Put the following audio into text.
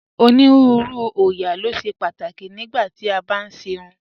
Onírùúrù oóyà lo ṣẹ̀ pátákì nígbà tí a bá n ṣè irùn